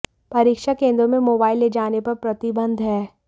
परीक्षा केंद्रों में मोबाईल ले जाने पर प्रतिबंध है